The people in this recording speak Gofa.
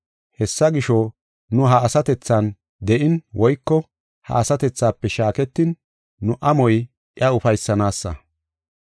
Hessa gisho, nu ha asatethan de7in woyko ha asatethafe shaaketin, nu amoy iya ufaysanaysa.